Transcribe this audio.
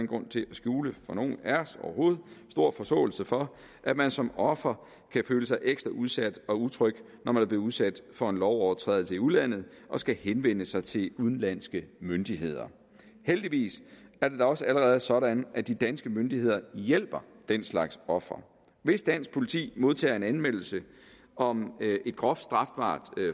grund til at skjule for nogen af os overhovedet stor forståelse for at man som offer kan føle sig ekstra udsat og utryg når man er blevet udsat for en lovovertrædelse i udlandet og skal henvende sig til udenlandske myndigheder heldigvis er det da også allerede sådan at de danske myndigheder hjælper den slags ofre hvis dansk politi modtager en anmeldelse om et groft strafbart